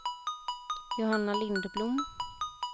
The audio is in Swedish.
Johanna Lindblom